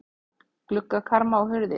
Gluggakarma og hurðir.